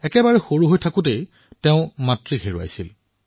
কম বয়সতেই তেওঁ নিজৰ মাকক হেৰুৱায়